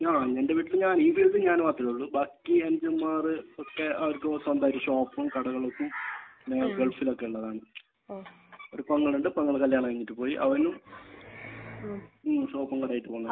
ആഹ്. എന്റെ വീട്ടിൽ ഞാൻ ഈ മേഖലയിൽ ഞാൻ മാത്രമാണ് ഉള്ളൂ. ബാക്കി എനിക്ക് തോന്നുന്നത് ഒക്കെ അവർക്ക് സ്വന്തമായിട്ട് ഷോപ്പും കടകളുമൊക്കെ പിന്നെ ഗൾഫിൽ ഒക്കെ ഉള്ളതാണ്. ഒരു പെങ്ങൾ ഉണ്ട്. പെങ്ങൾ കല്യാണം കഴിഞ്ഞിട്ട് പോയി. അവൻ ഷോപ്പും കടയുമായിട്ട് പോകുന്നു.